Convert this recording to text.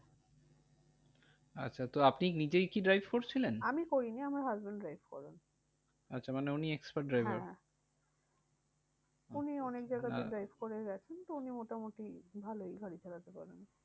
আচ্ছা তো আপনি নিজেই কি drive করছিলেন? আমি করিনি আমার husband drive করে। আচ্ছা মানে উনি expert driver? হ্যাঁ উনি অনেক জায়গাতে drive হ্যাঁ করে গেছেন, তো উনি মোটামুটি ভালোই গাড়ি চালাতে পারেন।